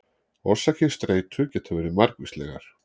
Orsakir streitu geta verið margvíslegar.